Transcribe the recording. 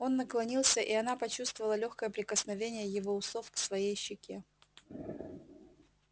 он наклонился и она почувствовала лёгкое прикосновение его усов к своей щеке